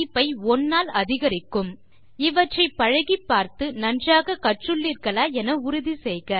இதனை சிறிது நேரத்திற்கு பின்பு பயன்படுத்தி பார்க்கலாம் இவற்றை பழகிப்பார்த்து நன்றாக கற்றுள்ளீர்களா என உறுதி செய்க இத்துடன் இந்த டியூட்டோரியல் முடிகிறது